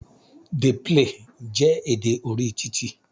"Dey play" jẹ́ èdè orí titi.